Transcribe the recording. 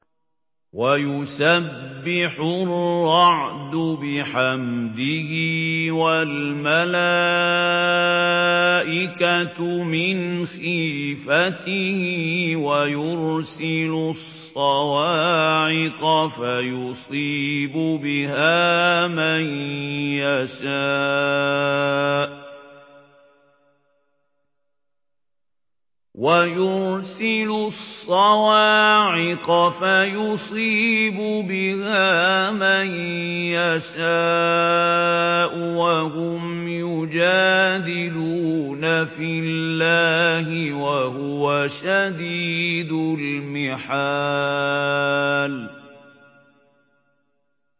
وَيُسَبِّحُ الرَّعْدُ بِحَمْدِهِ وَالْمَلَائِكَةُ مِنْ خِيفَتِهِ وَيُرْسِلُ الصَّوَاعِقَ فَيُصِيبُ بِهَا مَن يَشَاءُ وَهُمْ يُجَادِلُونَ فِي اللَّهِ وَهُوَ شَدِيدُ الْمِحَالِ